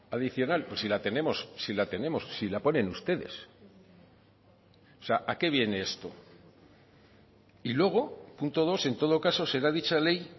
adicional pues si la tenemos si la tenemos si la ponen ustedes o sea a qué viene esto y luego punto dos en todo caso será dicha ley